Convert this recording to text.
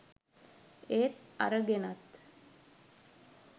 ඒත් අරගෙනත්.